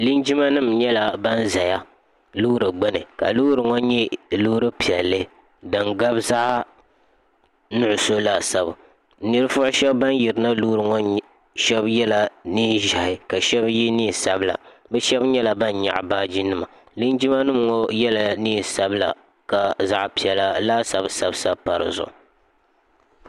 linjima nim nyɛla ban ʒɛ loori gbuni ka loori ŋɔ nyɛ loori piɛlli din gabi zaɣ nuɣso laasabu ninvuɣu shab ban yirina loori ŋɔ ni shab yɛla neen ʒiɛhi ka shab yɛ neen sabila bi shab nyɛla ban nyaɣa baaji nima linjima nim ŋɔ yɛla neen sabila ka zaɣ piɛla laasabu sabi sabi pa dizuɣu